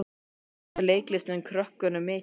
En gefur leiklistin krökkunum mikið?